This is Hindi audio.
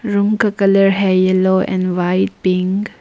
रूम का colour yellow and white pink.